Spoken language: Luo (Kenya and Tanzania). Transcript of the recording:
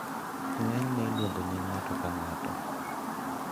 Ng`enyne iluong`o nying ng`ato ka ng`ato.